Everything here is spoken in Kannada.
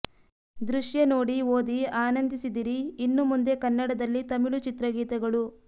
ದೃಶ್ಯ ನೋಡಿ ಓದಿ ಆನಂದಿಸಿದಿರಿ ಇನ್ನು ಮುಂದೆ ಕನ್ನಡದಲ್ಲಿ ತಮಿಳು ಚಿತ್ರಗೀತೆಗಳು